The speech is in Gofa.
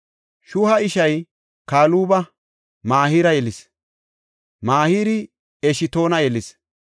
Shuha ishay Kaluba Mahira yelis; Mahiri Eshtoona yelis.